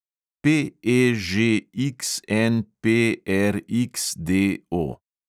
PEŽXNPRXDO